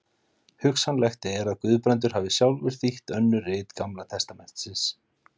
hugsanlegt er að guðbrandur hafi sjálfur þýtt önnur rit gamla testamentisins